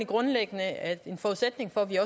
grundlæggende at en forudsætning for at vi